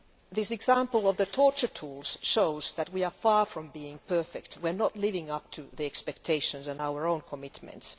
The example of the torture tools shows that we are far from being perfect. We are not living up to expectations and our own commitments.